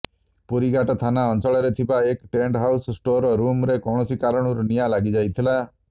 ପୁରୀଘାଟ ଥାନା ଅଞ୍ଚଳରେ ଥିବା ଏକ ଟେଣ୍ଟ ହାଉସ ଷ୍ଟୋର ରୁମ୍ରେ କୌଣସି କାରଣରୁ ନିଆଁ ଲାଗିଯାଇଥିଲା